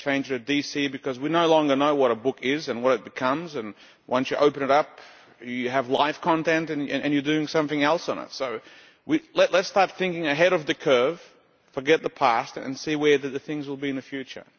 We should just change it to DC because we no longer know what a book is or what it becomes, and once you open it up you have live content and you are doing something else with it. So let us start thinking ahead of the curve, forget the past and see where these things will be in the future.